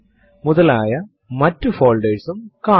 ഇപ്പോൾ നമുക്ക് അതിന്റെ ഉള്ളടക്കം കാണാം